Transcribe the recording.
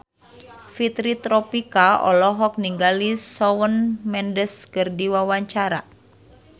Fitri Tropika olohok ningali Shawn Mendes keur diwawancara